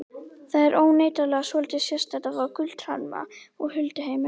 Það er óneitanlega svolítið sérstakt að fá gullhamra úr hulduheimum.